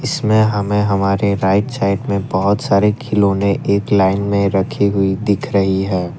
इसमें हमें हमारे राइट साइड में बहोत सारे खिलौने एक लाइन में रखी हुई दिख रही है।